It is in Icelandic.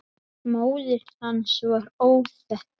Móðir hans er óþekkt.